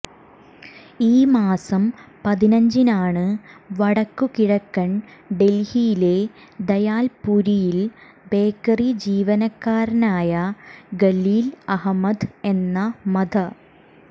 ഈ മാസം പതിനഞ്ചിനാണ് വടക്കു കിഴക്കൻ ഡൽഹിയിലെ ദയാൽപുരിയിൽ ബേക്കറി ജീവനക്കാരനായ ഖലീൽ അഹമ്മദ് എന്ന മധ